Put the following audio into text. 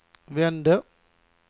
vände